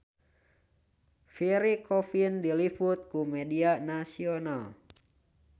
Pierre Coffin diliput ku media nasional